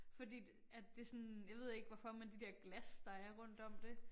Fordi at det sådan jeg ved ikke hvorfor men de der glas der er rundt om det